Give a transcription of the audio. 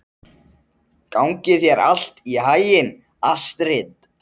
Gangi þér allt í haginn, Astrid.